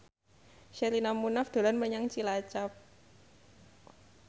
Sherina Munaf dolan menyang Cilacap